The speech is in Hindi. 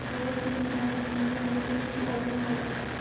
your teammate Meenu will be our model